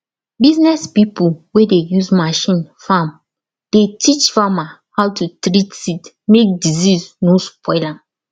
business pipo wey dey use machine farm dey teach farmer how to treat seed mek disease no spoil am